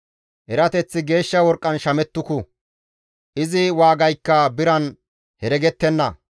Erateththi geeshsha worqqan shamettuku; izi waagaykka biran heregettenna.